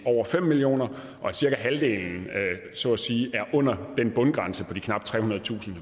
over fem million kr og cirka halvdelen er under den bundgrænse på knap trehundredetusind